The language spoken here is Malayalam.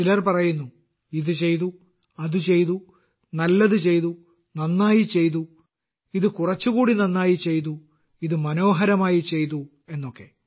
ചിലർ പറയുന്നു ഇത് ചെയ്തു അത് ചെയ്തു നല്ലത് ചെയ്തു നന്നായി ചെയ്തു ഇത് കുറച്ചുകൂടി നന്നായി ചെയ്തു ഇത് മനോഹരമായി ചെയ്തു എന്നൊക്കെ